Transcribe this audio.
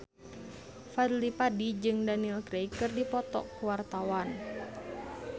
Fadly Padi jeung Daniel Craig keur dipoto ku wartawan